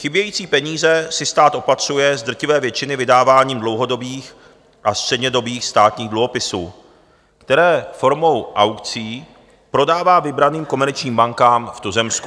Chybějící peníze si stát opatřuje z drtivé většiny vydáváním dlouhodobých a střednědobých státních dluhopisů, které formou aukcí prodává vybraným komerčním bankám v tuzemsku.